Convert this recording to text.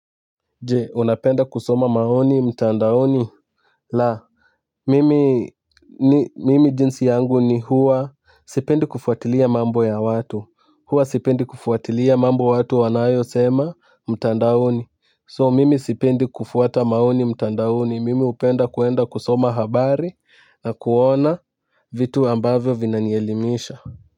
Je unapenda kusoma maoni mtandaoni la mimi jinsi yangu ni huwa sipendi kufuatilia mambo ya watu huwa sipendi kufuatilia mambo watu wanayo sema mtandaoni so mimi sipendi kufuata maoni mtandaoni mimi upenda kuenda kusoma habari na kuona vitu ambavyo vina nielimisha. Kwa hivyo.